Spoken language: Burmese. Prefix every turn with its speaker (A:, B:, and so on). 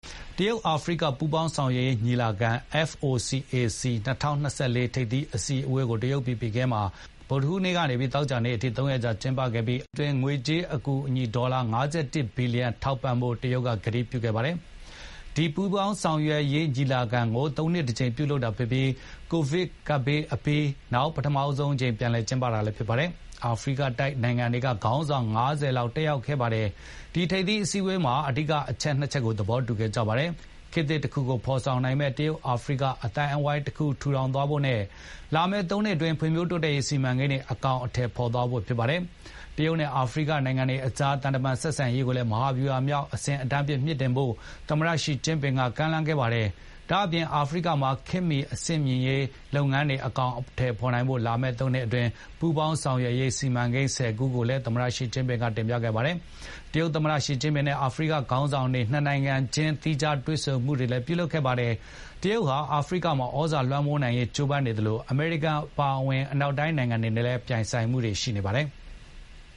A: တရုတ် အာဖရိက ပူးပေါင်းဆောင်ရွက်ရေးညီလာခံ FOCAC ၂၀၂၄ ထိပ်သီးအစည်းအဝေးကို တရုတ်ပြည် ဘေဂျင်းမြို့မှာ ဗုဒ္ဓဟူးနေ့ကနေ သောကြာနေ့ အထိ ၃ ရက်ကြာကျင်းပခဲ့ပြီး အာဖရိကအတွက် ၃ နှစ်အတွင်း ငွေကြေးအကူအညီ ဒေါ်လာ ၅၁ ဘီလီယံထောက်ပံ့ဖို့ တရုတ်က ကတိပြုခဲ့ပါတယ်။ ဒီပူးပေါင်းဆောင်ရွက်ရေးညီလာခံကို ၃ နှစ် တကြိမ် ပြုလုပ်တာဖြစ်ပြီး၊ ကိုဗစ် ကပ်ရောဂါဘေး ပြီးနောက် ဒါဟာ ပထမဆုံးအကြိမ် ပြန်လည် ကျင်းပတာ ဖြစ်ပါတယ်။ ဒီထိပ်သီးအစည်းအဝေးကို အာဖရိကတိုက်နိုင်ငံတွေက ခေါင်းဆောင် ၅၀ လောက် တက်ရောက်ခဲ့ပါတယ်။ ဒီထိပ်သီးအစည်းအဝေးမှာ အဓိကအချက် (၂) ချက်ကို သဘောတူခဲ့ကြပါတယ်။ ခေတ်သစ်တခုကိုဖော်ဆောင်နိုင်မယ့် တရုတ်-အာဖရိက အသိုင်းဝိုင်းတရပ်ကို ထူထောင်သွားဖို့နဲ့ လာမယ့် ၃ နှစ်အတွင်း ဖွံ့ဖြိုးတိုးတက်ရေး စီမံကိန်းတွေ အကောင်အထည် ဖော်သွားဖို့ဖြစ်ပါတယ်။ တရုတ်နဲ့ အာဖရိကနိုင်ငံအတွေအကြား သံတမန် ဆက်ဆံရေးကို မဟာဗျူဟာမြောက်အဆင့်တန်းအဖြစ် မြှင့်တင်သွားဖို့ သမတ ရှီကျင်းဖျင်က ကမ်းလှမ်းခဲ့ပါတယ်။ ဒါ့အပြင် အာဖရိကမှာ ခေတ်မီ အဆင့်မြှင့်ရေးလုပ်ငန်းတွေအကောင်အထည် ဖော်နိုင်ဖို့ လာမယ့် ၃ နှစ်အတွင်း ပူးပေါင်းဆောင်ရွက်ရေး စီမံကိန်း ၁၀ ခုကိုလည်း သမတ ရှီကျင်းဖျင်က တင်ပြခဲ့ပါတယ်။ တရုတ် သမ္မတ ရှီကျင်းဖျင်နဲ့ အာဖရိကနိုင်ငံခေါင်းဆောင်တွေဟာ နှစ်နိုင်ငံချင်း သီးခြားတွေ့ဆုံမှုတွေလည်း ပြုလုပ်ခဲ့ပါတယ်။ တရုတ်ဟာ အာဖရိကမှာ သြဇာလွမ်းမိုးနိုင်ဖို့ ကြိုးပမ်းနေသလို၊ အမေရိကန်အပါအဝင် အနောက်နိုင်ငံတွေနဲ့ အာဖရိကမှာ ပြိုင်ဆိုင်မှုတွေရှိနေပါတယ်။